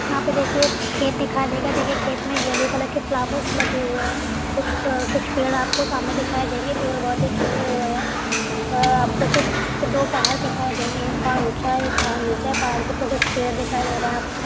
यहां पे देखिए खेत दिखाई देगा। देखिए खेत में येलो कलर के फ्लावर्स लगे हुए हैं। कुछ कुछ पेड़ आपको सामने दिखाई देंगे। पेड़ बहुत ही खिले हुए हैं और आपको दो पहाड दिखाई देंगे एक पहाड़ ऊंचा है। एक पहाड़ नीचा है। पहाड़ के ऊपर कुछ पेड़ दिखाई दे रहे हैं आपको।